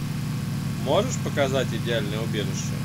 можешь показать идеальное убежище